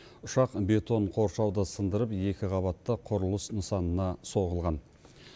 ұшақ бетон қоршауды сындырып екі қабатты құрылыс нысанына соғылған